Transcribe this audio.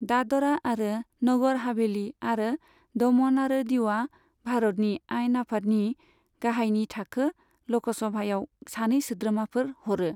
दादरा आरो नगर हभेलि आरो दमन आरो दिउआ भारतनि आयेन आफादनि गाहायनि थाखो लकसभायाव सानै सोद्रोमाफोर हरो।